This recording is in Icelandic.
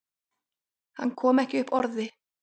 Hann kom ekki upp orði.